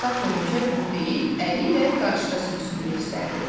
Axsaq hörümçək bunu deyib, əli ilə qarışqa sürüsünü göstərdi.